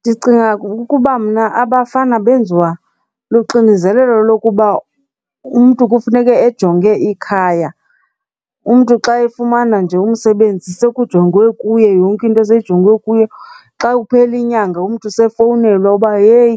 Ndicinga ukuba mna abafana benziwa luxinizelelo lokuba umntu kufuneke ejonge ikhaya, umntu xa efumana nje umsebenzi sekujongwe kuye, yonke into seyijongwe kuye. Xa kuphela inyanga umntu sefowunelwa uba, heyi